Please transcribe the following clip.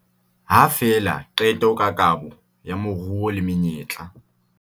Ha fela qeto ka kabo ya moruo le menyetla